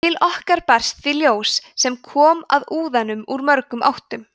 til okkar berst því ljós sem kom að úðanum úr mörgum áttum